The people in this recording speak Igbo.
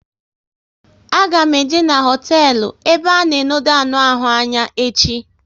A ga m eje n'hotelu ebe a na enode anụ ahụ anya echi